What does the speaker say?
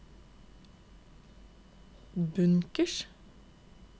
bunkers